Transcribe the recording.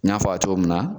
N y'a fɔ a ye cogo min na